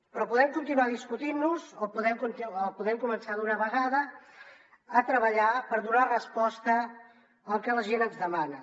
però podem continuar discutint nos o podem començar d’una vegada a treballar per donar resposta al que la gent ens demana